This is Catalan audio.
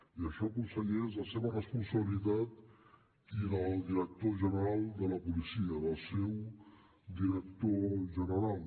i això conseller és la seva responsabilitat i la del director general de la policia del seu director general